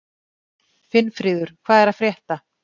Finnfríður, hvað er að frétta?